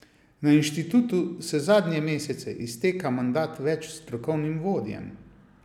Na inštitutu se zadnje mesece izteka mandat več strokovnim vodjem.